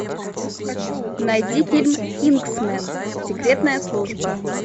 найди фильм кингсмен секретная служба